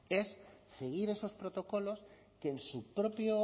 es seguir esos protocolos que en su propio